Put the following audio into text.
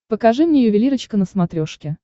покажи мне ювелирочка на смотрешке